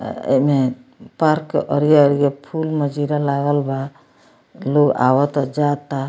आ एमे पार्क के अरिया-अरिया फुल नजर लागल बा लोग आवता जाता।